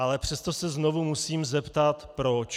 Ale přesto se znovu musím zeptat - proč?